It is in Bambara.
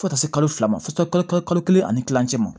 Fo ka taa se kalo fila ma fo kalo kelen ani kilancɛ ma